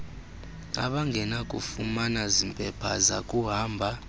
abangenakufumana zimpepha zakuhamba